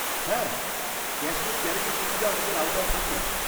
-হ্যাঁ ক্যাশলেস গ্যারেজের সুবিধা আমাদের আওতায় থাকে।